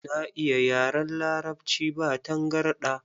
Na iya yaran Larabci ba tangarɗa.